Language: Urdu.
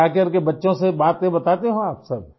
تو آپ گھر آکر بچوں سے باتیں بتاتے ہوں گے؟